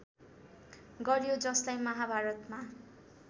गरियो जसलाई महाभारतमा